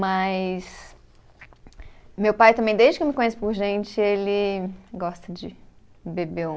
Mas. Meu pai também, desde que eu me conheço por gente, ele gosta de beber um